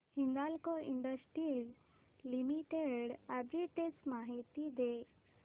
Hindalco industries limited arbitrage माहिती दे